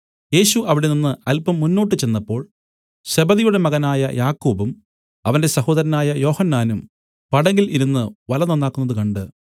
യേശു അവിടെനിന്നു അല്പം മുന്നോട്ടു ചെന്നപ്പോൾ സെബെദിയുടെ മകനായ യാക്കോബും അവന്റെ സഹോദരനായ യോഹന്നാനും പടകിൽ ഇരുന്നു വല നന്നാക്കുന്നത് കണ്ട്